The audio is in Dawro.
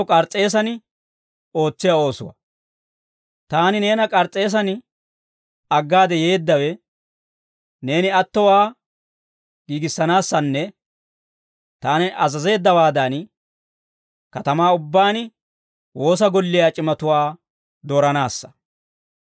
Taani neena K'ars's'eesan aggaade yeeddawe, neeni attowaa giigissanaassanne, taani azazeeddawaadan, katamaa ubbaan woosa golliyaa c'imatuwaa dooranaassa.